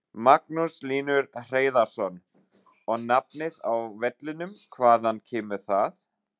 Magnús Hlynur Hreiðarsson: Og nafnið á vellinum, hvaðan kemur það?